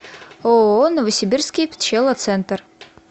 ооо новосибирский пчелоцентр